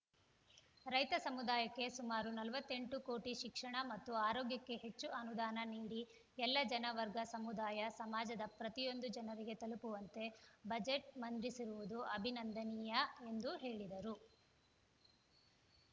ರೈತ ಸಮುದಾಯಕ್ಕೆ ಸುಮಾರು ನಲವತ್ತೆಂಟು ಕೋಟಿ ಶಿಕ್ಷಣ ಮತ್ತು ಆರೋಗ್ಯಕ್ಕೆ ಹೆಚ್ಚು ಅನುದಾನ ನೀಡಿ ಎಲ್ಲ ಜನ ವರ್ಗ ಸಮುದಾಯ ಸಮಾಜದ ಪ್ರತಿಯೊಂದು ಜನರಿಗೆ ತಲುಪುವಂತೆ ಬಜೆಟ್‌ ಮಂಡಿಸಿರುವುದು ಅಭಿನಂದನೀಯ ಎಂದು ಹೇಳಿದರು